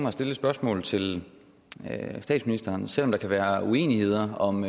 at stille et spørgsmål til statsministeren selv om der kan være uenighed om